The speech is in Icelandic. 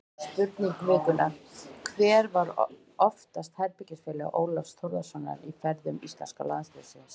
Spurning vikunnar: Hver var oftast herbergisfélagi Ólafs Þórðarsonar á ferðum íslenska landsliðsins?